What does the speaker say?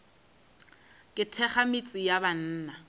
ke thekga metse ya banna